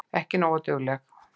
Ekki nógu dugleg.